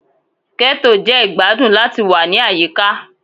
Ghetto jẹ igbadun lati wa ni ayika